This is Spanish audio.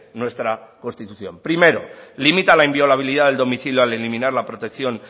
nuestra constitución primero limita la inviolabilidad del domicilio al eliminar la protección